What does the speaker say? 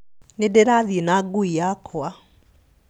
Nĩndĩrathiĩ na ngui yakwa